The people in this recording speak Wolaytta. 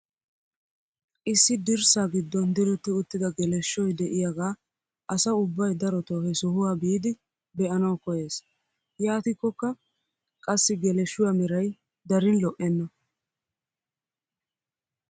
Issi dirssaa giddon diretti uttida geleshoy de'iyaagaa asa ubbay darotoo he sohuwaa biidi be'anawu koyyees. yaatikkoka qassi geleshshuwaa meray darin lo"enna.